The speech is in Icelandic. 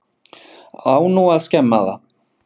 Á nú að skemma það?